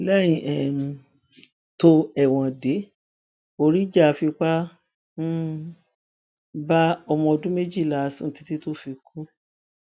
lẹyìn um tó ẹwọn dé oríjà fipá um bá ọmọ ọdún méjìlá sùn títí tó fi kú